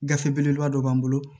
Gafe belebeleba dɔ b'an bolo